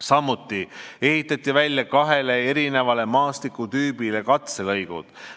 Samuti ehitati välja kahe eri maastikutüübi katselõigud.